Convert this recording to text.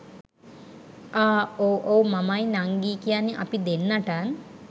අහ් ඔව් ඔව් මමයි නංගියි කියන්නේ අපි දෙන්නටත්